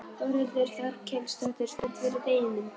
Þórhildur Þorkelsdóttir: Spennt fyrir deginum?